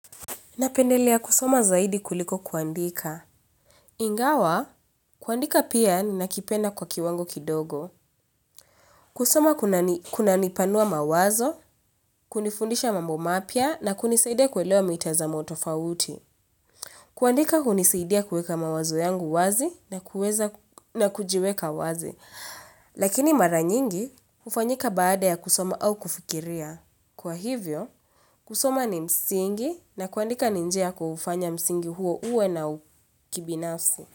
Napendelea kusoma zaidi kuliko kuandika. Ingawa, kuandika pia ninakipenda kwa kiwango kidogo. Kusoma kunanipanua mawazo, kunifundisha mambo mapya na kunisaidia kuelewa mitazamo tofauti. Kuandika hunisaidia kuweka mawazo yangu wazi na kuweza na kujiweka wazi. Lakini mara nyingi, hufanyika baada ya kusoma au kufikiria. Kwa hivyo, kusoma ni msingi na kuandika ni njia kufanya msingi huo uwe na ukibinafsi.